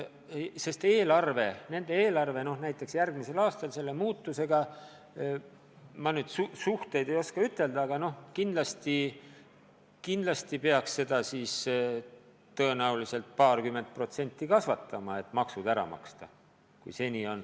Sest nende eelarvet tabab järgmisel aastal see muutus, et ma nüüd täpselt ei oska ütelda, aga kindlasti peaks seda paarkümmend protsenti kasvatama, et maksud ära maksta.